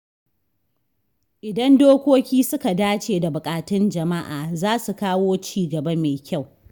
Idan dokoki suka dace da buƙatun jama’a, za su kawo ci gaba mai kyau.